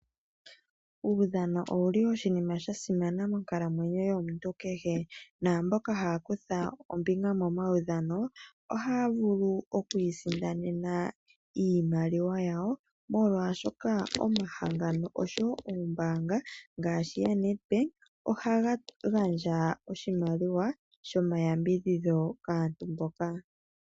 Uudhano owuli wa simana monkalamwenyo yomuntu kehe, naambyoka haya kutha ompito momaudhano ohaya vulu okwii sindanena iimaliwa yawo, molwaashoka omahala ngano ngele ombaanga ngaashi yaNet bank, ohaga gandja oshimaliwa sho ma yambidhidho kaantu mboka.